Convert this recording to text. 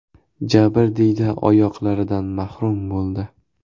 Jabrdiyda oyoqlaridan mahrum bo‘ldi.